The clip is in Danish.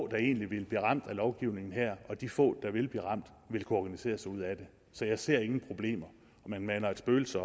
der egentlig vil blive ramt af lovgivningen her og de få der vil blive ramt vil kunne organisere sig ud af det så jeg ser ingen problemer man maner et spøgelse